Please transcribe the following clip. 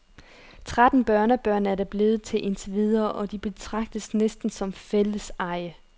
Tretten børnebørn er det blevet til indtil videre, og de betragtes næsten som fælleseje.